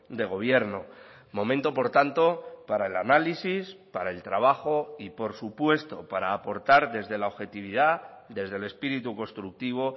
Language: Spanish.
de gobierno momento por tanto para el análisis para el trabajo y por supuesto para aportar desde la objetividad desde el espíritu constructivo